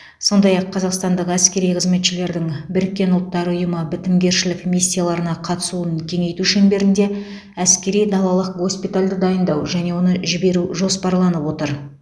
сондай ақ қазақстандық әскери қызметшілердің біріккен ұлттар ұйымы бітімгершілік миссияларына қатысуын кеңейту шеңберінде әскери далалық госпитальді дайындау және оны жіберу жоспарланып отыр